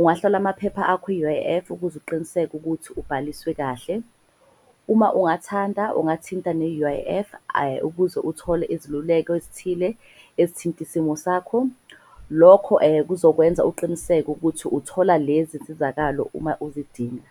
Ungahlola amaphepha akho i-U_I_F ukuze uqiniseke ukuthi ubhaliswe kahle. Uma ungathanda, ungathinta ne-U_I_F ukuze uthole iziluleko ezithile ezithinta isimo sakho. Lokho kuzokwenza uqiniseke ukuthi uthola lezi nsizakalo uma uzidinga.